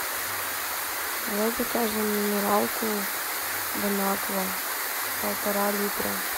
давай закажем минералку бонаква полтора литра